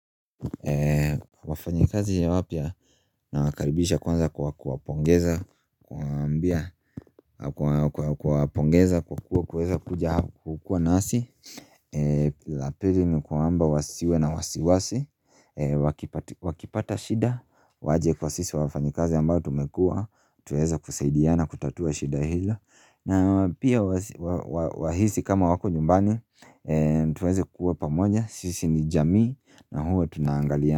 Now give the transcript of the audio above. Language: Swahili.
Wafanyikazi ya wapia na wakaribisha kwanza kwa kuwapongeza Kwa ambia kwa kuwapongeza kwa kuweza kuja kukua nasi la pili ni kwamba wasiwe na wasiwasi Wakipata shida waje kwa sisi wafanyikazi ambayo tumekua Tueza kusaidia na kutatua shida hila na pia wahisi kama wako nyumbani Tueze kuwa pamoja sisi ni jamii na huwa tunaangalia ya.